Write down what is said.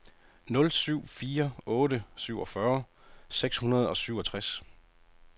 nul syv fire otte syvogfyrre seks hundrede og syvogtres